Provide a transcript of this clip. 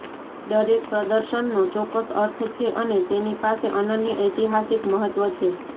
દરેક પ્રદર્શનનો ચોક્કસ અર્થ છે અને તેની પાસે અનન્ય ઐતિહાસિક મહત્વ છે